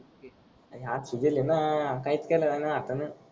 हे हात सुजले न काहीच त्याला अन हाता न.